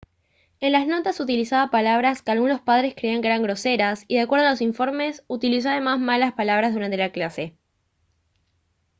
en las notas utilizaba palabras que algunos padres creían que eran groseras y de acuerdo a los informes utilizó además malas palabras durante la clase